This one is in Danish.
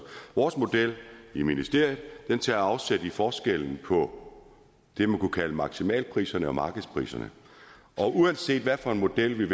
vores model i ministeriet tager afsæt i forskellen på det man kunne kalde maksimalpriserne og markedspriserne uanset hvad for en model